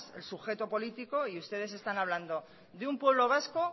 el sujeto político y ustedes están hablando de un pueblo vasco